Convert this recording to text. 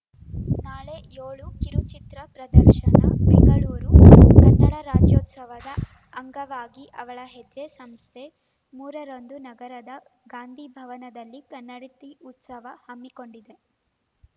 ನಾಳೆ ಏಳು ಕಿರುಚಿತ್ರ ಪ್ರದರ್ಶನ ಬೆಂಗಳೂರು ಕನ್ನಡ ರಾಜ್ಯೋತ್ಸವದ ಅಂಗವಾಗಿ ಅವಳ ಹೆಜ್ಜೆ ಸಂಸ್ಥೆ ಮೂರರಂದು ನಗರದ ಗಾಂಧಿಭವನದಲ್ಲಿ ಕನ್ನಡತಿ ಉತ್ಸವ ಹಮ್ಮಿಕೊಂಡಿದೆ